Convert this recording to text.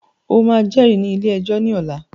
O máà jẹ́rìí ní ilé ẹjọ́ ní ọ̀la!